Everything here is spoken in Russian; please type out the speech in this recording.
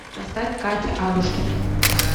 поставь катя адушкина